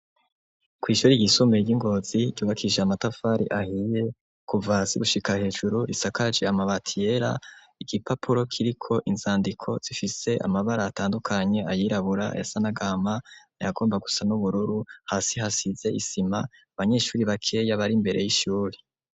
Kw'ishure ryisumbuye ry'iNgozi ryubakishij'amatafari ahiye kuva hasi gushika hejuru isakaje amabati yera , igipapuro kiriko inzandiko zifise amabara atandukanye ayirabura ayasa n'agahama , ayagomba gusa n'ubururu, hasi hasize isima , anbanyeshure bakeya bar'imbere y'ishure.